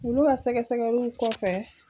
Olu ka sɛgɛsɛgɛliw kɔfɛ